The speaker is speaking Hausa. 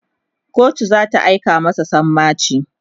kotu zata aika masa sammaci